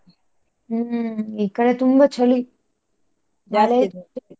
ಹ್ಮ್ ಈ ಕಡೆ ತುಂಬಾ ಚಳಿ .